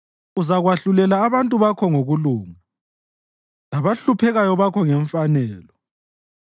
Uzakwahlulela abantu bakho ngokulunga, labahluphekayo bakho ngemfanelo.